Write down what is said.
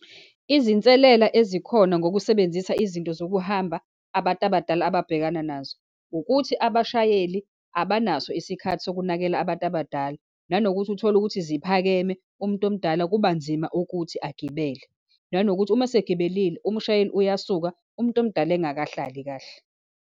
Izinselela ezikhona ngokusebenzisa izinto zokuhamba abantu abadala ababhekana nazo, ukuthi abashayeli abanaso isikhathi sokunakela abantu abadala, nanokuthi uthole ukuthi ziphakeme, umuntu omdala kubanzima ukuthi agibele, nanokuthi uma esegibelile, umshayeli uyasuka umuntu omdala engakahlali kahle.